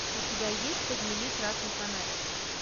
у тебя есть подними красный фонарь